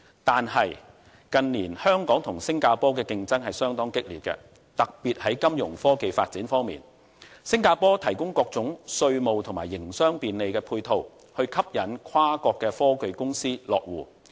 但是，近年香港與新加坡的競爭相當激烈，特別是在金融科技發展方面，新加坡提供各種稅務及營商便利配套，以吸引跨國科技公司落戶。